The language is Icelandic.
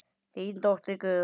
Þín dóttir Guðrún.